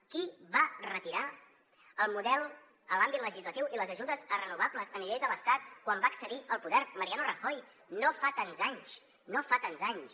qui va retirar el model en l’àmbit legislatiu i les ajudes a renovables a nivell de l’estat quan va accedir al poder mariano rajoy no fa tants anys no fa tants anys